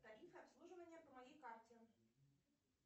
тарифы обслуживания по моей карте